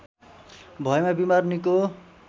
भएमा बिमार निको